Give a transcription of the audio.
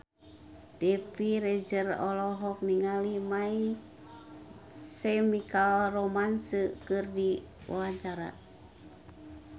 Dewi Rezer olohok ningali My Chemical Romance keur diwawancara